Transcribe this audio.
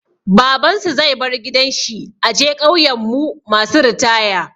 Baban su zai bar gidan shi a je ƙauyan mu masu ritaya.